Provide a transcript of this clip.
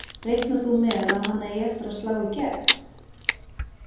Reiknar þú með að hann eigi eftir að slá í gegn?